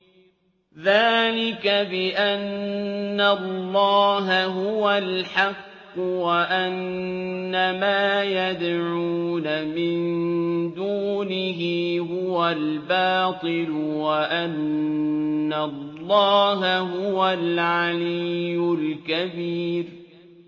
ذَٰلِكَ بِأَنَّ اللَّهَ هُوَ الْحَقُّ وَأَنَّ مَا يَدْعُونَ مِن دُونِهِ هُوَ الْبَاطِلُ وَأَنَّ اللَّهَ هُوَ الْعَلِيُّ الْكَبِيرُ